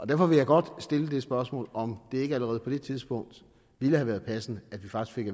derfor vil jeg godt stille det spørgsmål om det ikke allerede på det tidspunkt ville have været passende at vi faktisk